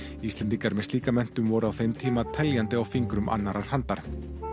Íslendingar með slíka menntun voru á þeim tíma teljandi á fingrum annarrar handar